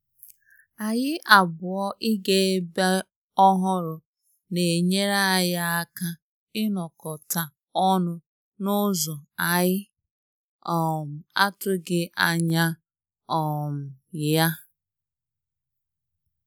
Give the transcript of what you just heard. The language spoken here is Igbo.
Anyị abụọ iga ebe ọhụrụ na enyere anyị aka inokota ọnụ na ụzọ anyị um atughi anya um ya